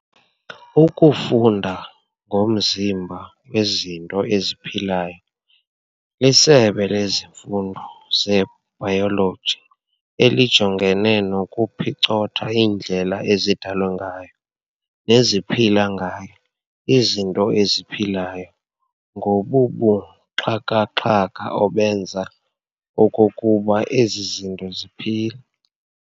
Ukufunda ngomzimba wezinto eziphilayo lisebe lezifundo ze-bayoloji elijongene nokuphicotha iindlela ezidalwe ngayo neziphila ngayo izinto eziphilayo nobubuxhakaxhaka obenza okokuba ezi zinto ziphile.